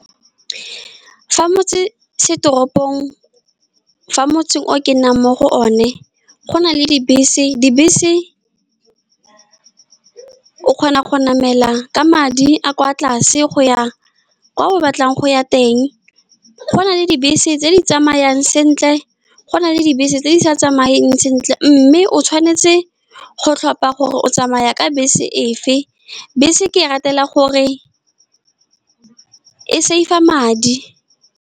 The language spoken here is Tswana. Fa motsesetoropong, fa motseng o ke nnang mo go one, go na le dibese. Dibese o kgona go namela ka madi a a kwa tlase go ya kwa o batlang go ya teng. Go na le dibese tse di tsamayang sentle, go na le dibese tse di sa tsamayeng sentle, mme o tshwanetse go tlhopa gore o tsamaya ka bese efe. Bese ke e ratela gore e saver madi.